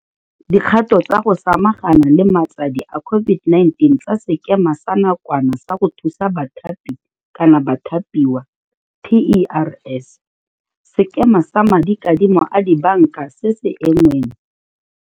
dikgato tsa go sama gana le matsadi a COVID-19 tsa Sekema sa Nakwana sa go Thusa Bathapi kgotsa Bathapiwa TERS, Sekema sa Madikadimo a Dibanka se se Engweng